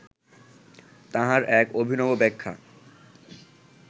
তাহার এক অভিনব ব্যাখ্যা